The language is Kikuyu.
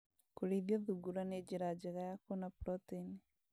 Kũrĩithia thungura nĩ njĩra njega ya kũona proteini